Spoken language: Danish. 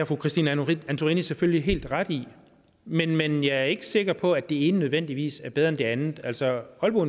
fru christine antorini selvfølgelig helt ret i men men jeg er ikke sikker på at det ene nødvendigvis er bedre end det andet altså aalborg